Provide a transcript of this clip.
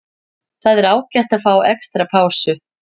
Það var ágætt að fá extra pásu.